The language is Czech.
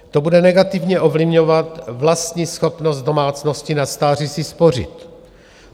To bude negativně ovlivňovat vlastní schopnost domácností na stáří si spořit.